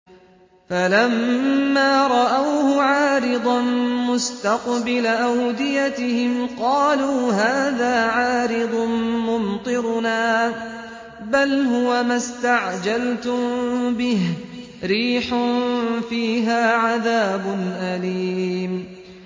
فَلَمَّا رَأَوْهُ عَارِضًا مُّسْتَقْبِلَ أَوْدِيَتِهِمْ قَالُوا هَٰذَا عَارِضٌ مُّمْطِرُنَا ۚ بَلْ هُوَ مَا اسْتَعْجَلْتُم بِهِ ۖ رِيحٌ فِيهَا عَذَابٌ أَلِيمٌ